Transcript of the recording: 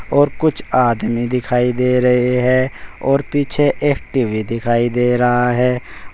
और कुछ आदमी दिखाई दे रहे है और पीछे एक टी_वी दिखाई दे रहा है।